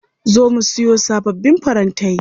Za mu siyo sababbin farantai.